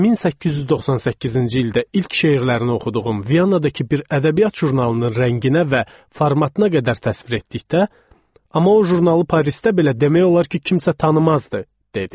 Amma 1898-ci ildə ilk şeirlərini oxuduğum Viyanakı bir ədəbiyyat jurnalının rənginə və formatına qədər təsvir etdikdə, amma o jurnalı Parisdə belə demək olar ki, kimsə tanımazdı, dedi.